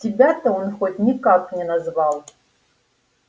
тебя-то он хоть никак не назвал